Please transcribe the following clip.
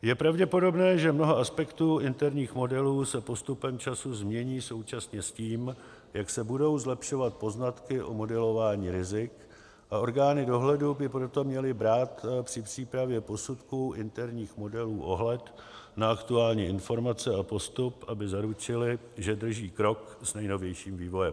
Je pravděpodobné, že mnoho aspektů interních modelů se postupem času změní současně s tím, jak se budou zlepšovat poznatky o modelování rizik, a orgány dohledu by proto měly brát při přípravě posudků interních modelů ohled na aktuální informace a postup, aby zaručily, že drží krok s nejnovějším vývojem.